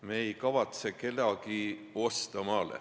Me ei kavatse kedagi maale osta.